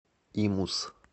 имус